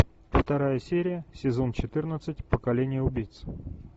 вторая серия сезон четырнадцать поколение убийц